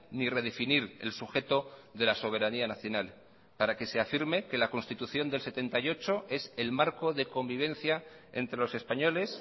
ni redefinir el sujeto de la soberanía nacional para que se afirme que la constitución de mil novecientos setenta y ocho es el marco de convivencia entre los españoles